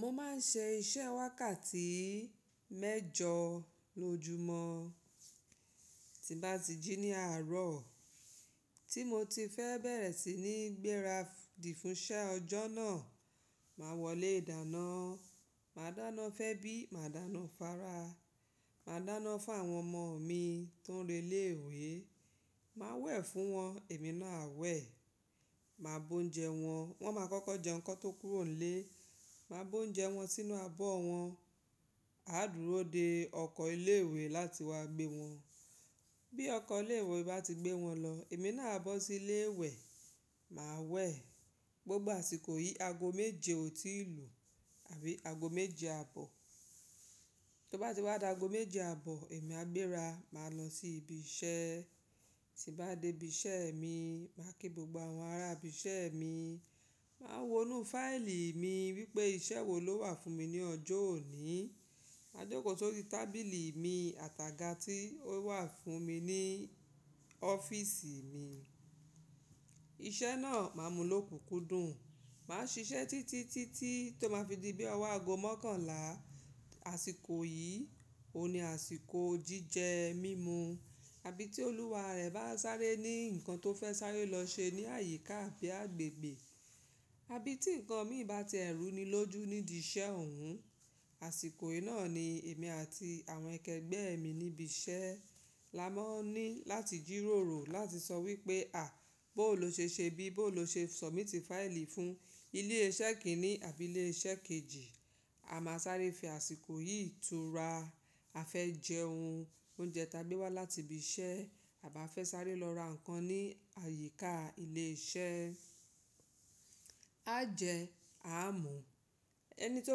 Mo máa ń ṣe iṣẹ́ wákàtí mẹ́jọ lójúmọ́. Tí bá ti jí ní àárọ̀ tí mo ti fẹ́ bẹ̀rẹ̀ sí ní gbéra dì fún iṣẹ́ ọjọ́ náà, màá wọlé ìdáná. Màá dáná fún ẹ́bí, màá dáná fún ara, màá dáná fún àwọn ọmọ mi tó ń re lé ìwé, màá wẹ̀ fún wọn, èmi náà a wẹ̀, màá bu oúnjẹ wọn. Wọ́n máa kọ́kọ́ jẹun ki won tó kúrò nílé, màá bọ oúnjẹ wọn sínú abọ́ wọn. A á dúró de ọkọ̀ ilé-ìwé láti wá gbé wọn. Bí ọkọ̀ ilé-ìwé bá ti gbé wọn lọ, èmi náà a bọ́ sílé wẹ̀, màá wẹ̀ gbogbo àsìkò yìí aago méje ò tíì lù àbí aago méje àbọ̀. Tó bá ti wá da aago méje àbọ̀, èmi a gbéra, màá lọ sí ibi iṣẹ́. Tí bá dé ibi iṣẹ́ mi, màá kí gbogbo àwọn ará ibi iṣẹ́ mi, màá wonú fáìlì mi wípé iṣẹ́ wo ló wà fún mi ní ọjọ́ òní. Màá jókòó sórí tábìlì mi, àtàgà tí ó wà fún mi ní ọ́fíísì mi. Iṣẹ́ náà màá múlò kúkú dùn. Màá ṣiṣẹ́ títí, títí tó máa fi di bí ọwọ́ aago mọ́kànlá àsìkò yìí. Óun ní àsìkò jíjẹ, mímu. Àbí tí olúwa rẹ̀ bá sáré ní ǹkan tó fẹ́ sáré lọ ṣe ní àyíká àbí agbègbè. Àbí tí ǹkan mi bá ti ẹ̀rù ni lójú nídi iṣẹ́ òun. Àsìkò yìí náà ni èmi àti àwọn ẹkẹgbẹ́ mi níbi iṣẹ́ la máa ń ní láti jírórò láti sọ wípé à, bó ló ṣe ṣe bí, bó ló ṣe submit fáìlì fún ilé iṣẹ́ kìíní àbí ilé iṣẹ́ kejì. A máa sáré fi àsìkò yìí tura. A fẹ́ jẹ oun, oúnjẹ ta gbé wá láti ibi iṣẹ́ àbí a fẹ́ sáré lọ ra ǹkan ní àyíká ilé iṣẹ́. A jẹ, a mú. Ẹni tó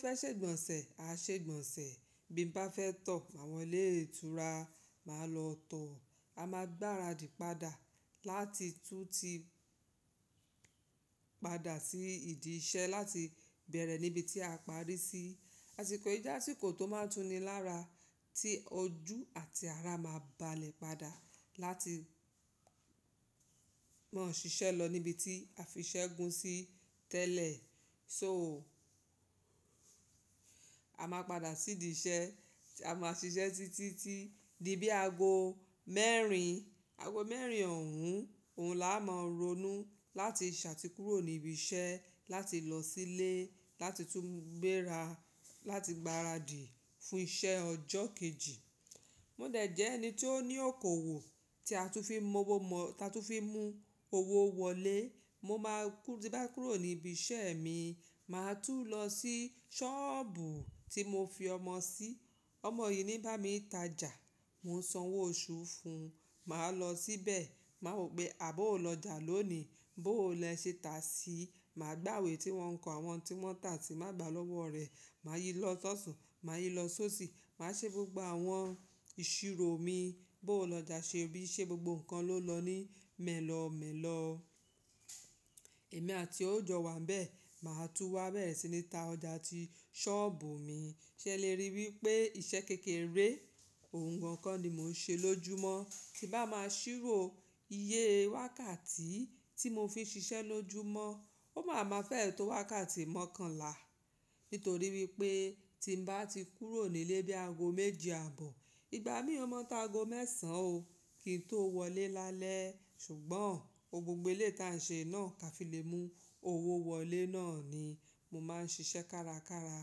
fẹ́ ṣe ìgbọ̀nsẹ̀, a ṣe ìgbọ̀nsẹ̀. Bí mo bá fẹ́ tọ̀ ma wo ilé ìtura, màá lọ tọ̀. A máa gbára dì padà láti tún ti padà sí ìdí iṣẹ́ láti bẹ̀rẹ̀ níbi tí a parí sí. Àsìkò yìí jẹ́ àsìkò tó máa ń túni lára tí ojú àti ara máa ń balẹ̀ padà láti máa ṣiṣẹ́ lọ níbi tí a fiṣẹ́ gun sí tẹ́lẹ̀. So a máa padà sí ìdí iṣẹ́. A máa ṣiṣẹ́ títí tí di bí aago mẹ́rin, aago mẹ́rin òun. Òun la máa ronú láti ṣatíkúrò níbi iṣẹ́ láti lọ sílé láti tún gbéra láti gbára dì fún iṣẹ́ ọjọ́ kejì. Mo dẹ̀ jẹ́ ẹni tó ní òkòwò tí a tún fi mú owó wọlé. Mo máa ti bá kúrò níbi iṣẹ́ mi, màá tún lọ sí sọ́ọ̀bù tí mo fi ọmọ sí. Ọmọ yìí ni ń bá mi tajà. Mo ń san owó oṣù fún un. Màá lọ síbẹ̀, màá wò pé àbọ̀ ò lọjà lónìí, bó o lẹ́ṣẹ́ tà síi, màá gbàwẹ̀ tí wọn ń kọ àwọn tí wọn tà tí màá gbà lọ́wọ́ rẹ̀. Màá yi lọ́ sọ̀tun, màá yi lọ sóṣì, màá ṣe gbogbo àwọn ìṣirò mi. Bó o lọjà ṣe bí, ṣe gbogbo nǹkan ló lọ ní mẹ́lọ̀ọ́ mẹ́lọ̀ọ́. Èmi àtie ò jò wà níbẹ̀, màá tún wá bẹ̀rẹ̀ sí ní ta ọjà tí sọ́ọ̀bù mi. Ṣé ẹ lè rí wípé iṣẹ́ kékeré, ohun gan ko ni mò ń ṣe lójúmọ́. Tí bá máa ṣírò iye wákàtí tí mo fi ń ṣiṣẹ́ lójúmọ́, ó máa ma fẹ́ ètò wákàtí mọ́kànlá. Nítorí wípé tí mo bá ti kúrò nílé bí aago méje àbọ̀, ìgbà mí ò ma tá aago mẹ́sàn o kí n tó wọlé lálẹ́. Ṣùgbọ́n gbogbo eleyi ti a ń ṣe náà ká fi lè mú owó wọlé náà ni mo máa ń ṣiṣẹ́ kárakára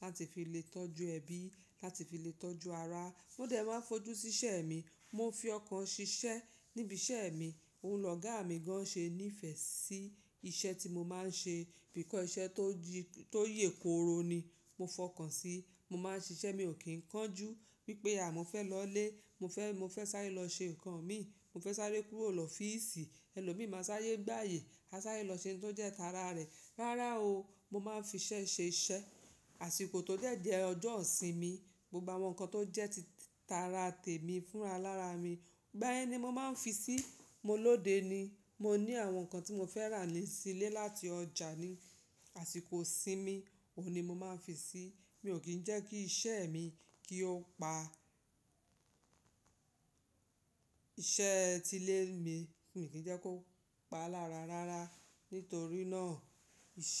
láti fi lè tọ́jú ẹbí, láti fi lè tọ́jú ara. Mo dẹ̀ máa ń fojú sí iṣẹ́ mi, mo ń fi ọkàn ṣiṣẹ́ níbi iṣẹ́ mi. Òun lọ́gà mi gan ṣé ní ìfẹ́ sí iṣẹ́ tí mo máa ń ṣe, because iṣẹ́ tó yè kooro ni mo fọkàn sí. Mo máa ń ṣiṣẹ́ mi ò kí ń kánjú wípé à, mo fẹ́ lọlé, mo fẹ́ sáré lọ ṣe ǹkan mi, mo fẹ́ sáré kúrò lọ fìísì. Ẹni ló mi máa sáré gba ààyè, a sáré lọ ṣe ohun tó jẹ́ tara rẹ̀. Rárá o, mo máa ń fi iṣẹ́ ṣe iṣẹ́. Àsìkò tó dẹ̀ jẹ́ ọjọ́ isìnmi, gbogbo àwọn nǹkan tó jẹ́ ti tara tèmi fúnra lára mi, ìgbà yen ni mo máa ń fi sí i. Mo lóde ni. Mo ní àwọn nǹkan tí mo fẹ́ rà nílé láti ọjà ní àsìkò isìnmi, òun ni mo máa ń fi sí i. Mi ò kí ń jẹ́ kí iṣẹ́ mi kí ó pa iṣẹ́ ti ilé mi, mi ò kí ń jẹ́ kó pa lára rárá. Nítorí náà iṣẹ́